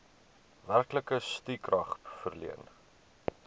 werklike stukrag verleen